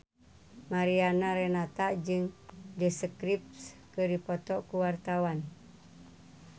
Mariana Renata jeung The Script keur dipoto ku wartawan